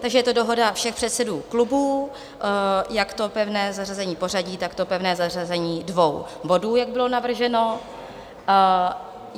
Takže je to dohoda všech předsedů klubů, jak to pevné zařazení pořadí, tak to pevné zařazení dvou bodů, jak bylo navrženo.